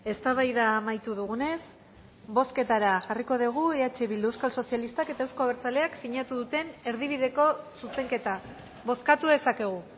eztabaida amaitu dugunez bozketara jarriko degu eh bilduk euskal sozialistak eta euzko abertzaleak sinatu duten erdibideko zuzenketa bozkatu dezakegu